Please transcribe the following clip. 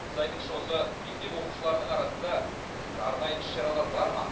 сіз айтыңызшы осы мектеп оқушыларының арасында арнайы іс шаралар бар ма